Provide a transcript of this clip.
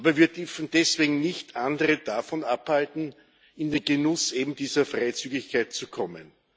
Aber wir dürfen deswegen nicht andere davon abhalten, in den Genuss eben dieser Freizügigkeit zu kommen.